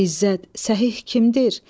İzzət, səhih kimdir?